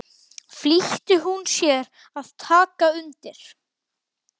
flýtti hún sér að taka undir.